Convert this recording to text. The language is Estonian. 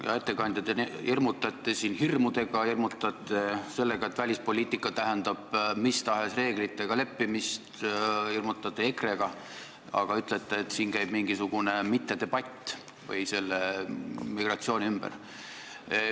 Hea ettekandja, te hirmutate siin hirmudega, hirmutate sellega, et välispoliitika tähendab mis tahes reeglitega leppimist, hirmutate EKRE-ga ja ütlete, et siin käib mingisugune mittedebatt migratsiooni ümber.